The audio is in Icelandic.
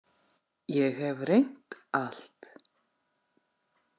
Ég hef reynt allt.